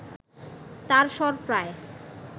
তাঁর স্বর প্রায়